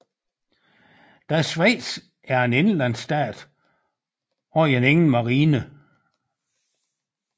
Da Schweiz er en indlandsstat har man ingen marine